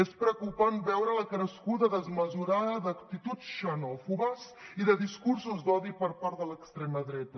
és preocupant veure la crescuda desmesurada d’actituds xenòfobes i de discursos d’odi per part de l’extrema dreta